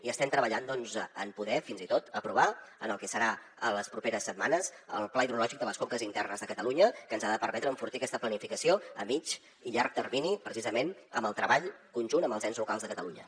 i estem treballant doncs en poder fins i tot aprovar el que serà les properes setmanes el pla hidrològic de les conques internes de catalunya que ens ha de permetre enfortir aquesta planificació a mitjà i llarg termini precisament amb el treball conjunt amb els ens locals de catalunya